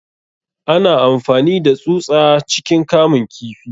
Ana amfani da tsusa ciikin kamun kifi.